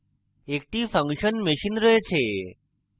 একটি function machine রয়েছে